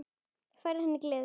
Færir henni gleði.